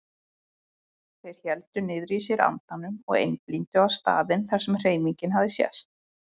Þeir héldu niðri í sér andanum og einblíndu á staðinn þar sem hreyfingin hafði sést.